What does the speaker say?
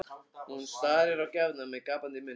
Hún starir á gjafirnar með gapandi munn.